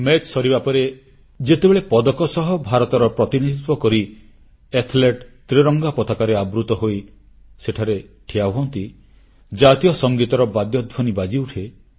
ପ୍ରତିଯୋଗୀତା ସରିବା ପରେ ଯେତେବେଳେ ପଦକ ସହ ଭାରତର ପ୍ରତିନିଧିତ୍ୱ କରି ଖେଳାଳି ସେଠାରେ ତ୍ରିରଙ୍ଗା ପତାକାରେ ଆବୃତ ହୋଇ ସେଠାରେ ଠିଆ ହୁଅନ୍ତି ଜାତୀୟ ସଙ୍ଗୀତର ବାଦ୍ୟଧ୍ୱନି ବାଜିଉଠେ